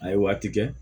A ye waati kɛ